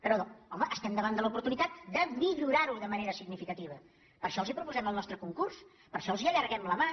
però home estem davant de l’oportunitat de millorar·ho de manera significativa per això els proposem el nostre concurs per això els allarguem la mà